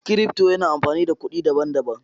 Cryfto yana amfani da kuɗi daban-daban.